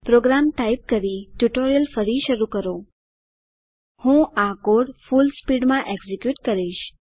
programme type કરીને પછી tutorial ફરી શરૂ કરો હું આ કોડ ફુલસ્પીડ માં એકઝીક્યુટ કરીશ